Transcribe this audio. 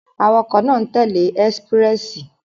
Awakọ̀ náà n tẹle Expréssi